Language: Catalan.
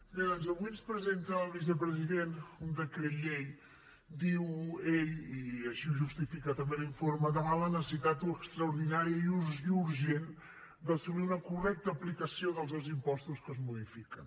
bé doncs avui ens presenta el vicepresident un decret llei diu ell i així ho justifica també l’informe davant la necessitat extraordinària i urgent d’assolir una correcta aplicació dels dos impostos que es modifiquen